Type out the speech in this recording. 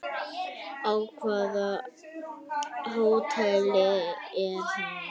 Á hvaða hóteli er hún?